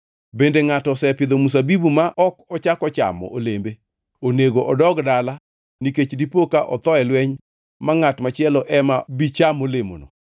Bende ngʼato osepidho mzabibu ma ok ochako chamo olembe? Onego odog dala nikech dipoka otho e lweny ma ngʼat machielo ema bi cham olemono.